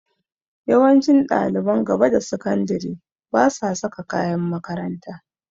Yawancin ɗaliban gaba da sakandire basa saka kayan makaranta.